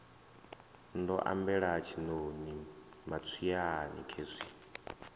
ndo ambela tshiṋoni matswiani khezwi